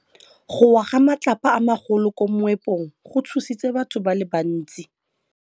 Go wa ga matlapa a magolo ko moepong go tshositse batho ba le bantsi.